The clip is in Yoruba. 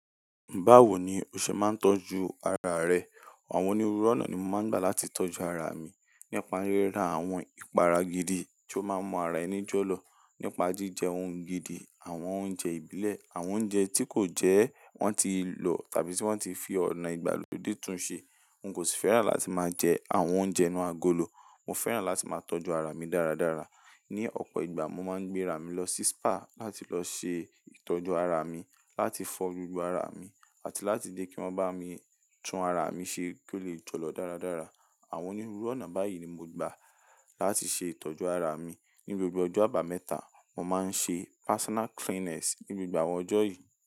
Báwo ni o ṣe máa ń tọ́jú ara rẹ? Àwọn onírúurú ọ̀nà ni mo máa ń gbà láti tọ́jú ara mi. Nípa ríra àwọn ìpara gidi tí ó máa ń mọ ara ẹni jọlọ. Nípa jíjẹ ohun gidi, àwọn oúnjẹ ìbílẹ̀, àwọn oúnjẹ tí kò jẹ́ wọ́n ti lò tàbí tí wọ́n ti fi ọ̀nà ìgbàlódé tún ṣe. N kò sì fẹ́ràn láti máa jẹ àwọn oúnjẹ inú agolo. Mo fẹ́ràn láti máa tọ́jú ara mi dáradára. Ni ọ̀pọ̀ ìgbà, mo máa ń gbé ara mi lọ sí spa láti lọ ṣe ìtọ́jú ara mi, láti fọ gbogbo ara mi àti láti dé kí wọ́n bá mi tún ara mi ṣe kí ó lè jọlọ dáradára. Àwọn onírúurú ọ̀nà báyìí ni mo gbà láti ṣe ìtọ́jú ara mi. Ni gbogbo ọjọ́ àbámẹ́ta, mo máa ń ṣe personal cleanliness. Ni gbogbo àwọn ọjọ́ yìí.